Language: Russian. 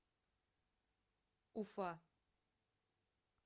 уфа